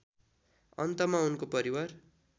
अन्तमा उनको परिवार